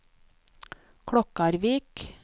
Klokkarvik